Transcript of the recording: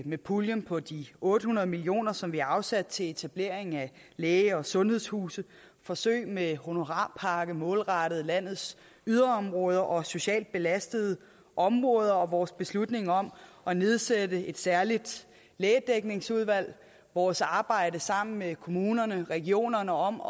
med puljen på de otte hundrede million kr som vi har afsat til etablering af læge og sundhedshuse forsøg med honorarpakke målrettet landets yderområder og socialt belastede områder vores beslutning om at nedsætte et særligt lægedækningsudvalg og vores arbejde sammen med kommunerne og regionerne om